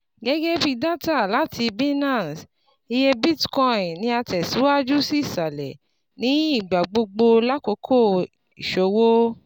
Gẹgẹbi data lati Binance, iye Bitcoin ni a tẹ siwaju si isalẹ ni igbagbogbo lakoko iṣowo